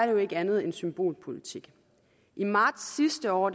jo ikke andet end symbolpolitik i marts sidste år